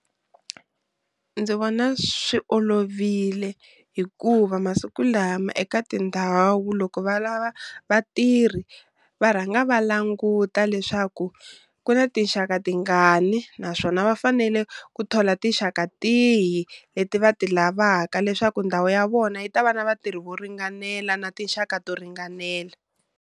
Ndzi vona swi olovile hikuva masiku lama eka tindhawu loko va lava vatirhi va rhanga va languta leswaku ku na tinxaka tingani, naswona va fanele ku thola tinxaka tihi leti va ti lavaka, leswaku ndhawu ya vona yi ta va na vatirhi vo ringanela na tinxaka to ringanela.